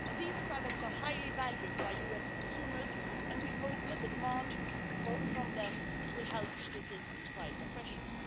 These products are highly valued by US consumers, and we hope that the demand from them will help resist price pressures.